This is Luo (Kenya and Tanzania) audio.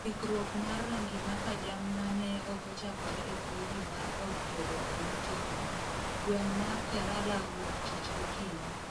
kikruok mar rangi maka jamna ne ochakore e freji mar od tedo e utego ,gweng' mar Kerala wuoktich gokinyi